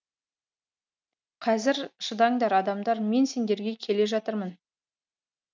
қазір шыдаңдар адамдар мен сендерге келе жатырмын